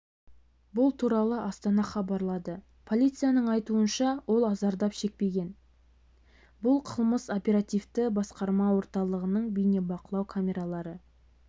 бұл туралы астана хабарлады полицияның айтуынша ол зардап шекпеген бұл қылмыс оперативті басқарма орталығының бейнебақылау камералары